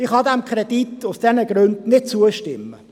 Ich kann diesem Kredit aus diesen Gründen nicht zustimmen.